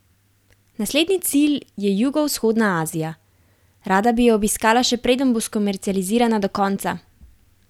Naslednji cilj je jugovzhodna Azija: "Rada bi jo obiskala še preden bo skomercializirana do konca.